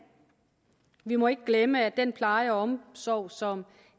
vi må ikke glemme at den pleje og omsorg som